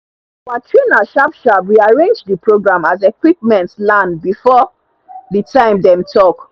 our trainer sharp sharp rearrange the program as equipment land before the time dem talk